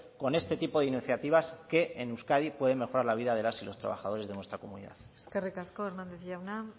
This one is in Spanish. con este tipo de iniciativas que en euskadi pueden mejorar la vida de las y los trabajadores de nuestra comunidad eskerrik asko hernández jauna